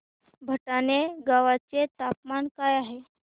भटाणे गावाचे तापमान काय आहे